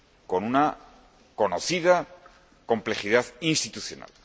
con una conocida complejidad institucional.